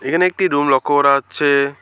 এখানে একটি রুম লক্ষ্য করা আচ্ছে ।